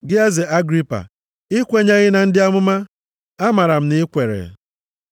Gị eze Agripa, i kwenyeghị na ndị amụma? Amaara m na i kweere.”